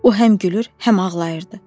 O həm gülür, həm ağlayırdı.